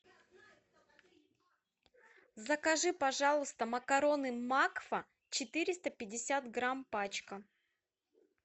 закажи пожалуйста макароны макфа четыреста пятьдесят грамм пачка